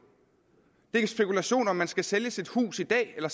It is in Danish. det er spekulation om man skal sælge sit hus i dag eller